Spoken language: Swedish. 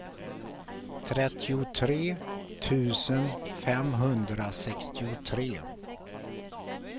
trettiotre tusen femhundrasextiotre